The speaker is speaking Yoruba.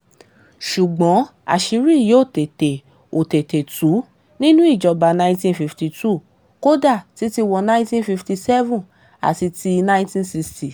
ṣùgbọ́n àṣírí yìí ò tètè ò tètè tu nínú ìjọba nineteen fifty two kódà títí wọ ninety fifty seven àti ti 19 ninety sixty 60